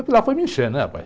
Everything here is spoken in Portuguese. Aquilo lá foi me encher, né?